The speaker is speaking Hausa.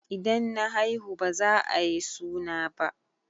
In na haihu baza ayi suna ba